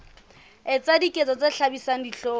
etsa diketso tse hlabisang dihlong